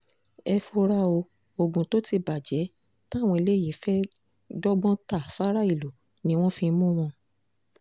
ẹ fura o oògùn tó ti bàjẹ́ táwọn eléyìí fẹ́ẹ́ dọ́gbọ́n ta fáráàlú ni wọ́n fi mú wọn